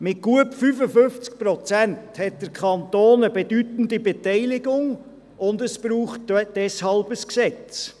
Mit gut 55 Prozent besitzt der Kanton eine bedeutende Beteiligung, und es braucht deshalb ein Gesetz.